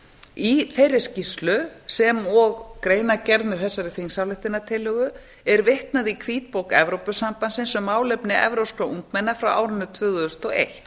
í þeirri skýrslu sem og greinargerð með þessari þingsályktunartillögu er vitnað í hvítbók evrópusambandsins um málefni evrópskra ungmenna frá árinu tvö þúsund og eitt